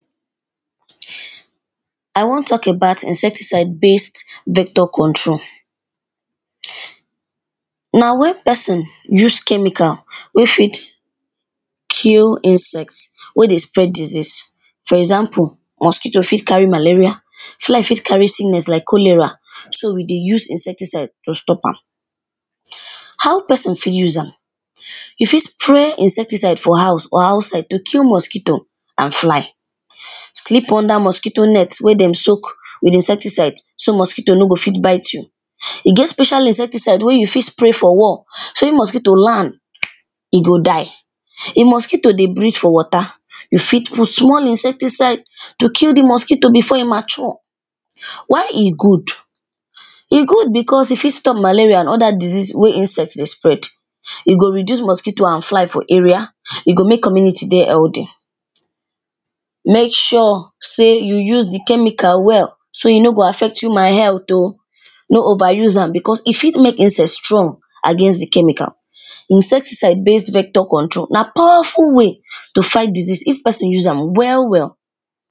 I wan talk about insecticide based vector control, na wen pesin use chemical wey fit kill insect wey dey spread disease, for example mosquito fit carry malaria, fly fit carry sickness like cholera so e dey use insecticide to stop am. How pesin fit use am, you fit sprey insecticide for house or outside to kill mosquito and fly. Sleep under mosquito net wey dem soak with insecticide so mosquito no go fit bit you, e get special insecticide wey you fit sprey for wall so wen mosquito land e go die, if mosquito dey breath for water you fit put small insecticide to kill di mosquito before e mature. Why e good, e good becos e fit stop malaria and oda disease wey insect dey spread, e go reduce mosquito and fly for area, e go make community dey healthy, make sure sey you use di chemical well so e no go affect human health oh, no over use am becos e fit make insect strong against di chemical. Di insecticide based vector control na powerful way to fight disease if pesin use am well well.